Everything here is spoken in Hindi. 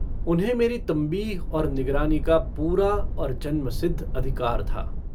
उन्हें मेरी तम्बीह और निगरानी का पूरा और जन्मसिद्ध अधिकार था।